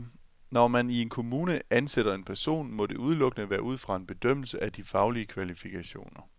Når man i en kommune ansætter en person, må det udelukkende være ud fra en bedømmelse af de faglige kvalifikationer.